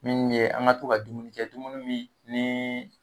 Min ye an ga to ka dumuni kɛ dumuni min nii